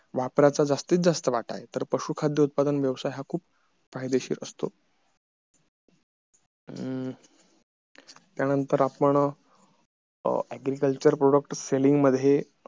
वापराचा जास्तीत जास्त वाटा आहे तर पशु खाद्य उत्पादन हा खूप फायदेशीर असतो अ त्या नंतर आपण agriculture product selling मध्ये